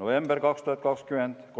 novembriks 2020